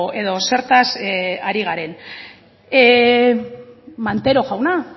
edo zertaz ari garen montero jauna